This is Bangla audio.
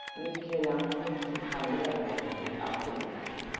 নিয়ে খেলাম তবে ভালোই লাগলো বুঝলি? তাও খেয়ে নিলাম।